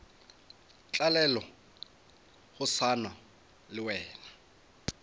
tlalelwe go swana le wena